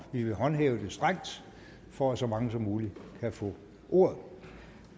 vi vil håndhæve det strengt for at så mange som muligt kan få ordet